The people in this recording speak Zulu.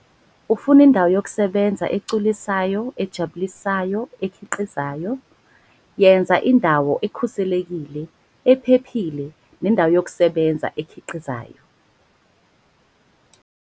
Ufuna indawo yokusebenza egculisayo, ejabulisayo, ekhiqizayo - yenza indawo ekhuselekile, ephephile nendawo yokusebenza ekhiqizayo.